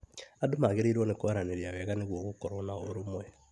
Andũ magĩrĩirwo nĩ kwaranĩria wega nĩguo gũkorwo na ũrũmwe.